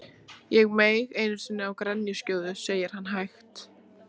Ég meig einu sinni á grenjuskjóðu, segir hann hægt.